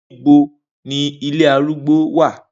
Nibo ni ile arùgbó ti wa?